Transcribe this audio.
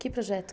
Que projeto?